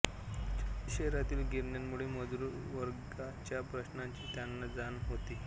शहरातील गिरण्यांमुळे मजूर वर्गाच्या प्रश्नांची त्यांना जाण होती